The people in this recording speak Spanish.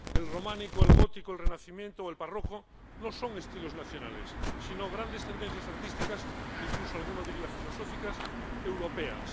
El románico, el gótico, el renacimiento o el barroco no son estilos nacionales, sino grandes tendencias artísticas —incluso alguno diría filosóficas— europeas.